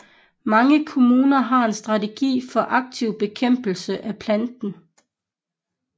Mange kommuner har en strategi for aktiv bekæmpelse af planten